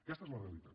aquesta és la realitat